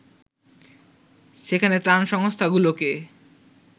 সেখানে ত্রাণ সংস্থাগুলোকে